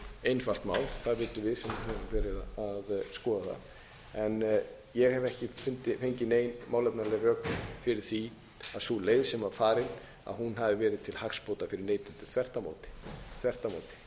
höfum verið að skoða það en ég hef ekki fengið nein málefnaleg rök fyrir því að sú leið sem var farin hafi verið til hagsbóta fyrir neytendur þvert á móti þvert á